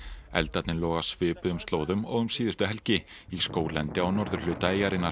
eldarnir loga á svipuðum slóðum og um síðustu helgi í skóglendi á norðurhluta eyjarinnar